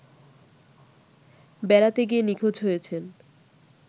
বেড়াতে গিয়ে নিখোঁজ হয়েছেন